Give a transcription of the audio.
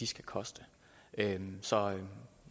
skal koste så